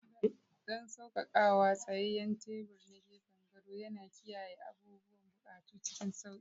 Don saukakawa, tsayayyen tebur na gefen gado yana kiyaye abubuwan buƙatu cikin sauƙi.